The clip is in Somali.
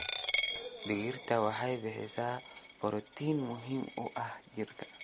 Digirta waxay bixisaa borotiin muhiim u ah jirka.